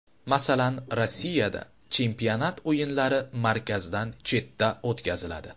Masalan, Rossiyada chempionat o‘yinlari markazdan chetda o‘tkaziladi.